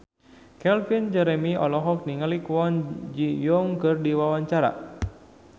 Calvin Jeremy olohok ningali Kwon Ji Yong keur diwawancara